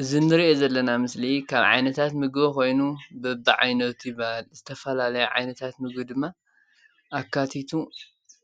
እዚ እንሪኦ ዘለና ምስሊ ካብ ዓይነታት ምግቢ ኮይኑ በቢዓይነቱ ይባሃል፡፡ ዝተፈላለየ ዓይነታት ምግቢ ድማ ኣካቲቱ